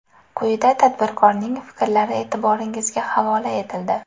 Quyida tadbirkorning fikrlari e’tiboringizga havola etildi.